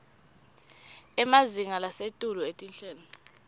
emazinga lasetulu etinhlelo